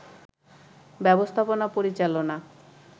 ব্যবস্থাপনা পরিচালনা